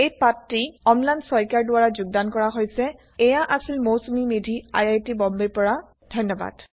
এই পাঠটি অম্লান শইকীয়াৰ দ্ৱাৰা যোগদান কৰা হৈছে আই আই টি বম্বেৰ পৰা মই মৌচূমি মেধি এতিয়া আপোনাৰ পৰা বিদায় লৈছো দৰ্শন কৰাৰ বাবে ধন্যবাদ